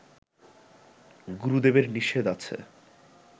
গুরুদেবের নিষেধ আছে